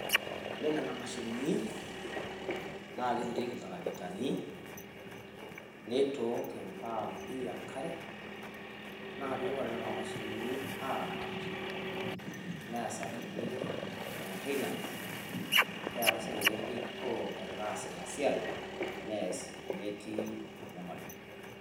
Ore nena mashinini naa keturieki iltarakitani neitook impaampi enkare, naa pee ing`ori nena mashinini aaramat neasakini mantainance. Niaku sii ninche kebikoo egira aas ina siai nees metii enyamali.